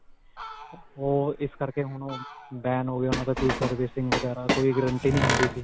ਓਹ ਇਸ ਕਰਕੇ ਹੁਣ ਓਹ ban ਹੋ ਗਏ ਓਹਨਾਂ ਦਾ ਕੋਈ servicing ਵਗੈਰਾ ਕੋਈ guarantee ਨਹੀ ਹੁੰਦੀ ਸੀ .